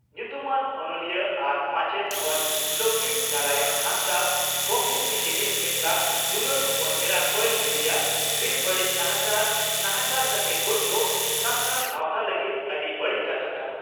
ᱧᱩᱛᱩᱢᱟᱱ ᱚᱱᱚᱞᱤᱭᱟᱹ ᱟᱨ ᱢᱟᱪᱮᱛ ᱢᱟᱱ ᱞᱚᱠᱷᱤ ᱱᱟᱨᱟᱭᱚᱬ ᱦᱟᱸᱥᱫᱟᱜ ᱜᱚᱢᱠᱮ ᱛᱤᱠᱤᱱᱤᱡ ᱮᱠᱞᱟ ᱫᱩᱞᱟᱹᱲ ᱦᱚᱯᱚᱱ ᱮᱨᱟ ᱠᱚᱭᱮᱞ ᱵᱤᱴᱤᱭᱟᱜ ᱵᱮᱼᱵᱟᱹᱲᱤᱡ ᱱᱟᱦᱟᱪᱟᱨ ᱱᱟᱦᱟᱪᱟᱨ ᱠᱟᱛᱮ ᱜᱚᱡᱽ ᱫᱚ ᱥᱟᱱᱛᱟᱲ ᱥᱟᱣᱛᱟ ᱞᱟᱹᱜᱤᱫ ᱟᱹᱰᱤ ᱵᱟᱹᱲᱤᱡ ᱠᱟᱛᱷᱟ ᱠᱟᱱᱟ ᱾